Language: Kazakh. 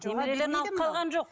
немерелерін алып қалған жоқ